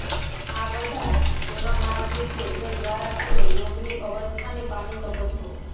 આ બધા તેવા માર્ગો છે જે દ્વારા તમે યોગની અવસ્થાને પામી શકો છો